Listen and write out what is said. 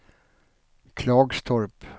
Klagstorp